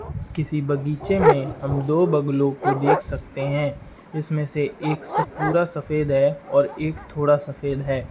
किसी बगीचे में हम दो बगुलों को देख सकते हैं। इसमें से एक स् पूरा सफेद है और एक थोड़ा सफेद है।